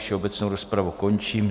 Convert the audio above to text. Všeobecnou rozpravu končím.